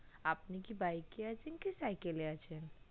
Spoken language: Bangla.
আপনি কি bike এ আসেন না cycle এ আসেন